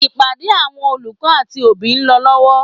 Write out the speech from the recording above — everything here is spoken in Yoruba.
Ìpàdé àwọn olùkọ́ àti òbí ń lọ lọ́wọ́.